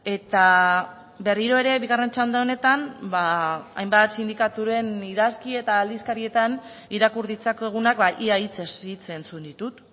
eta berriro ere bigarren txanda honetan hainbat sindikaturen idazki eta aldizkarietan irakur ditzakegunak ia hitzez hitz entzun ditut